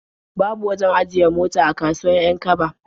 Babu wajen ajiye mota a kasuwar 'Yan-kaba.